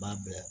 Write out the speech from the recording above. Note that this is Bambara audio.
B'a bila